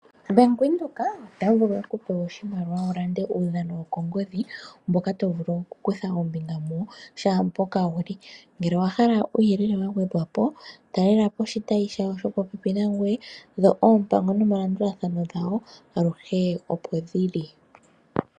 Bank Windhoek ota vulu oku ku pa oshimaliwa wu lande uudhano wokongodhi mboka to vulu okukutha ombinga muwo shaa mpoka wu li. Ngele owa hala uuyelele wa gwedhwa po talela po oshitayi shawo shopopepi nangoye dho oompango nomalandulathano gawo aluhe opo ge li.